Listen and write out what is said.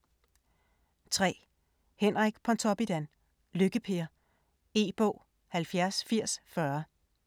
3. Pontoppidan, Henrik: Lykke-Per E-bog 708040